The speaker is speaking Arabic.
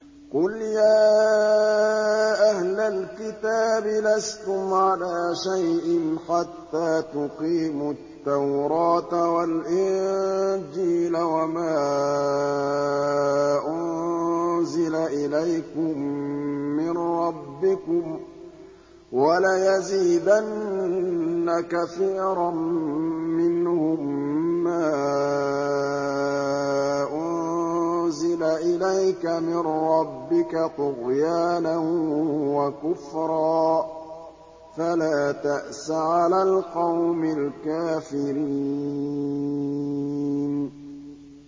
قُلْ يَا أَهْلَ الْكِتَابِ لَسْتُمْ عَلَىٰ شَيْءٍ حَتَّىٰ تُقِيمُوا التَّوْرَاةَ وَالْإِنجِيلَ وَمَا أُنزِلَ إِلَيْكُم مِّن رَّبِّكُمْ ۗ وَلَيَزِيدَنَّ كَثِيرًا مِّنْهُم مَّا أُنزِلَ إِلَيْكَ مِن رَّبِّكَ طُغْيَانًا وَكُفْرًا ۖ فَلَا تَأْسَ عَلَى الْقَوْمِ الْكَافِرِينَ